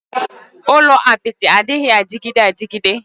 Ulo apịtị adịghị adịgide adịgide